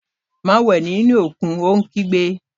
Má wẹ̀ nínú òkun, yóò kígbe